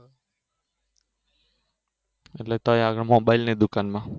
એટલે ક્યાં આગળ મોબાઈલની દુકાન માં